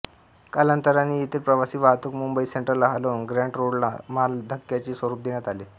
कालांतराने येथील प्रवासी वाहतूक मुंबई सेन्ट्रलला हलवून ग्रॅंट रोडला मालधक्क्याचे स्वरूप देण्यात आले